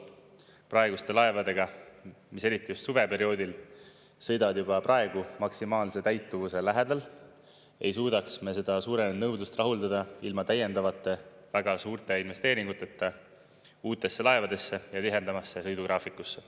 Praeguste laevadega, mis eriti just suveperioodil sõidavad juba praegu maksimaalse täituvuse lähedal, ei suudaks me seda suurenenud nõudlust rahuldada ilma täiendavate väga suurte investeeringuteta uutesse laevadesse ja tihedamasse sõidugraafikusse.